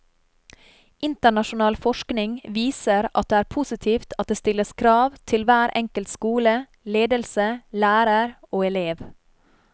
Internasjonal forskning viser at det er positivt at det stilles krav til hver enkelt skole, ledelse, lærer og elev.